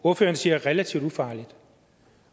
ordføreren siger relativt ufarligt